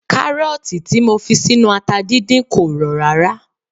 Kárọ̀tì tí mo fi sínú ata dídín kò rọ̀ rárá